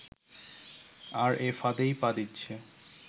আর এ ফাঁদেই পা দিচ্ছে